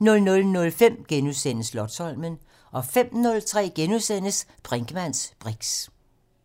* 00:05: Slotsholmen * 05:03: Brinkmanns briks *